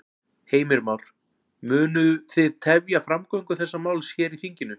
Heimir Már: Munu þið tefja framgöngu þessa máls hér í þinginu?